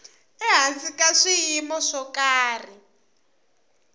ehansi ka swiyimo swo karhi